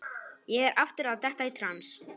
Ég er aftur að detta í trans.